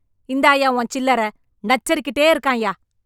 இந்தாய்யா உன் சில்லற... நச்சரிக் கிட்டே இருக்கான்யா...